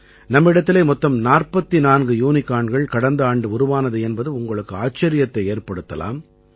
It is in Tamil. நம்மிடத்திலே மொத்தம் 44 யூனிகார்ன்கள் கடந்த ஆண்டு உருவானது என்பது உங்களுக்கு ஆச்சரியத்தை ஏற்படுத்தலாம்